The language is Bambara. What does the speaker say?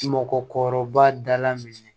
Mɔgɔkɔrɔba dala min ye